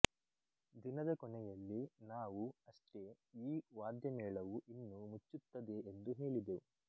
ದಿನದ ಕೊನೆಯಲ್ಲಿ ನಾವು ಅಷ್ಟೆ ಈ ವಾದ್ಯಮೇಳವು ಇನ್ನು ಮುಚ್ಚುತ್ತದೆ ಎಂದು ಹೇಳಿದೆವು